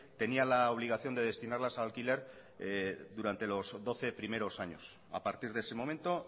tenía la obligación de destinarlas a alquiler durante los doce primeros años a partir de ese momento